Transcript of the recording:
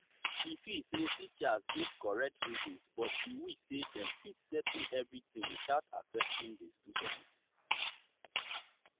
e feel say teachers get correct reasons but e wish say dem fit settle everything without affecting the students.